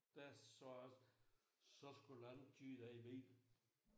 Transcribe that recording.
Der sagde jeg også så skulle en anden køre din bil